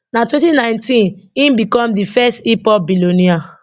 na 2019 im become di first hiphop billionaire